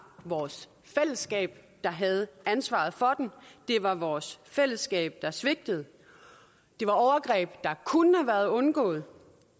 vores fællesskab der havde ansvaret for dem det var vores fællesskab der svigtede det var overgreb der kunne have været undgået